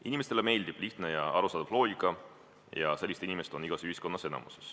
Inimestele meeldib lihtne ja arusaadav loogika ja sellised inimesed moodustavad igas ühiskonnas enamuse.